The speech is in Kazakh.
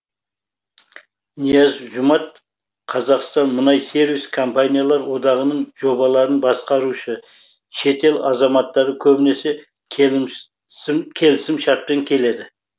нияз жұмат қазақстан мұнай сервис компаниялар одағының жобаларын басқарушы шетел азаматтары көбінесе келісімшартпен келеді